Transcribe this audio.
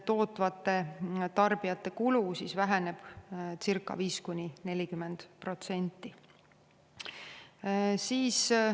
Tootvate tarbijate kulu väheneb siis 5–40%.